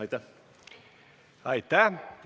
Aitäh!